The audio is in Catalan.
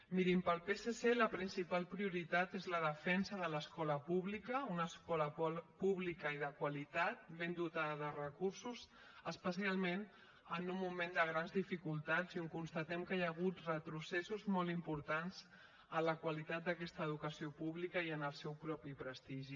mirin pel psc la principal prioritat és la defensa de l’escola pública una escola pública i de qualitat ben dotada de recursos especialment en un moment de grans dificultats i on constatem que hi ha hagut retrocessos molt importants en la qualitat d’aquesta educació pública i en el seu mateix prestigi